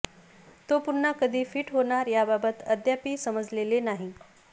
तो पुन्हा कधी फिट होणार याबाबत अद्यापि समजलेले नाही